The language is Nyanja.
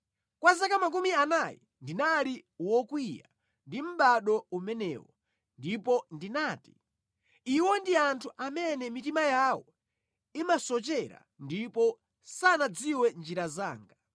Kwa zaka makumi anayi ndinali wokwiya ndi mʼbado umenewo; ndipo ndinati, “Iwo ndi anthu amene mitima yawo imasochera ndipo sanadziwe njira zanga.”